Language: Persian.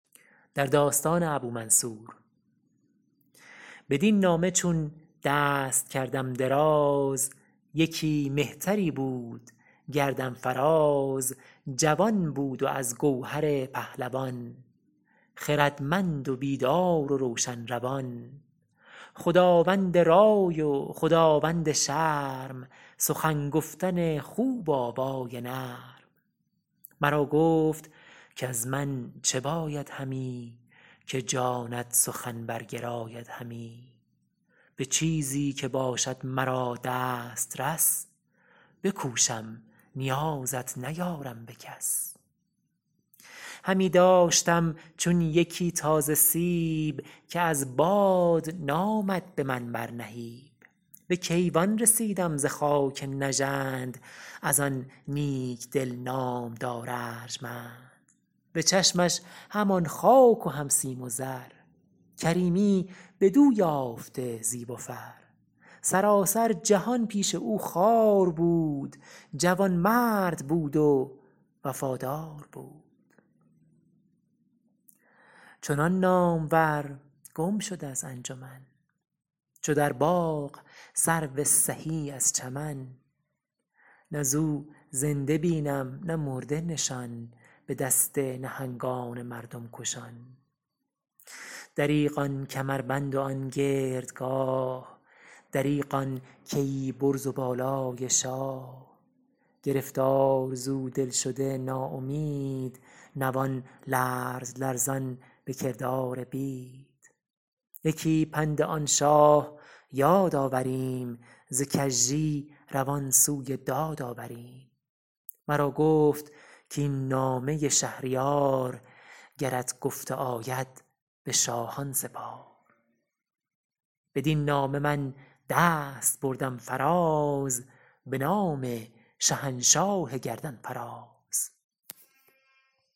بدین نامه چون دست کردم دراز یکی مهتری بود گردن فراز جوان بود و از گوهر پهلوان خردمند و بیدار و روشن روان خداوند رای و خداوند شرم سخن گفتن خوب و آوای نرم مرا گفت کز من چه باید همی که جانت سخن برگراید همی به چیزی که باشد مرا دسترس بکوشم نیازت نیارم به کس همی داشتم چون یکی تازه سیب که از باد نامد به من بر نهیب به کیوان رسیدم ز خاک نژند از آن نیک دل نامدار ارجمند به چشمش همان خاک و هم سیم و زر کریمی بدو یافته زیب و فر سراسر جهان پیش او خوار بود جوانمرد بود و وفادار بود چنان نامور گم شد از انجمن چو در باغ سرو سهی از چمن نه ز او زنده بینم نه مرده نشان به دست نهنگان مردم کشان دریغ آن کمربند و آن گردگاه دریغ آن کیی برز و بالای شاه گرفتار ز او دل شده نا امید نوان لرز لرزان به کردار بید یکی پند آن شاه یاد آوریم ز کژی روان سوی داد آوریم مرا گفت کاین نامه شهریار گرت گفته آید به شاهان سپار بدین نامه من دست بردم فراز به نام شهنشاه گردن فراز